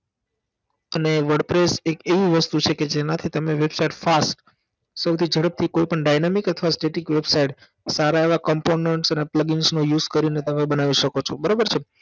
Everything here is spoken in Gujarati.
અને wordpress એક એવી વસ્તુ છે કે જેનાથી તમે Website fast સૌથી જડપથી કોઈ પણ dynamic અથવા Static website સારા એવા components અને plugin નો use કરીને તમે બનાવી શકો છો બરાબર છે